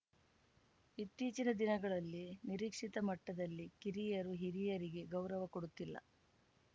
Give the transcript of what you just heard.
ಇತ್ತೀಚಿನ ದಿನಗಳಲ್ಲಿ ನಿರೀಕ್ಷಿತ ಮಟ್ಟದಲ್ಲಿ ಕಿರಿಯರು ಹಿರಿಯರಿಗೆ ಗೌರವ ಕೊಡುತ್ತಿಲ್ಲ